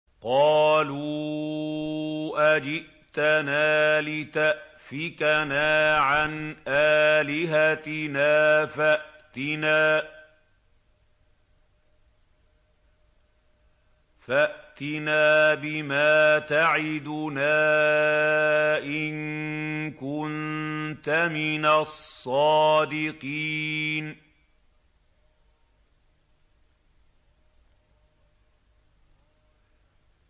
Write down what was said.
قَالُوا أَجِئْتَنَا لِتَأْفِكَنَا عَنْ آلِهَتِنَا فَأْتِنَا بِمَا تَعِدُنَا إِن كُنتَ مِنَ الصَّادِقِينَ